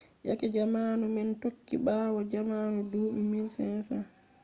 yake zamanu nane tokki ɓawo zamanu duuɓi 1500